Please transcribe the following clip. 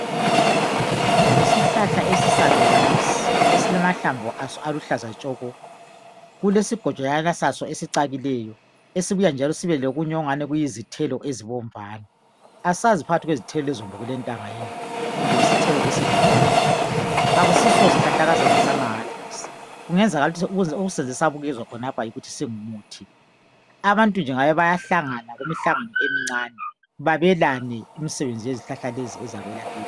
yishlahla esisaluba lesi esilamahlamvu aso aluhlaza tshoko kulesigojana saso esicakileyo esibuya sibe lokunye okungani yizithelo ezibomvana asazi phakathi kwezithelo lezi kulentanga yini kumbe yisithelo esidliwayo akusios sihlahlakazana samahala lesi kungenzakala ukuthi okusenze sabukezwa khonalapha yikuthi singumuthi abantu nje ngabe bayahlangana imihlangano emincane belabane imisebenzi yezihlahla lezi ezakwelakithi